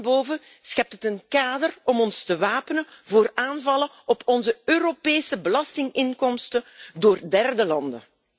Bovendien schept het een kader om ons te wapenen tegen aanvallen op onze Europese belastinginkomsten door derde landen.